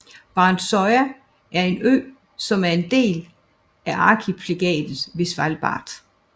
Barentsøya er en ø som er en del af arkipelaget Svalbard